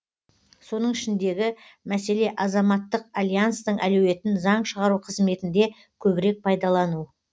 соның ішіндегі мәселе азаматтық альянстың әлеуетін заң шығару қызметінде көбірек пайдалану